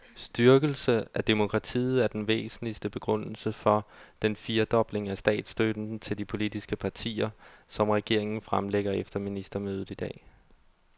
Styrkelse af demokratiet er den væsentligste begrundelse for den firedobling af statsstøtten til de politiske partier, som regeringen fremlægger efter ministermødet i dag.